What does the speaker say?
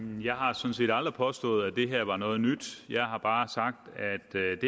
jeg har sådan set aldrig påstået at det her var noget nyt jeg har bare sagt